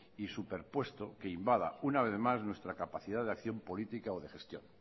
y superpuesto que invada una vez más nuestra capacidad de acción política o de gestión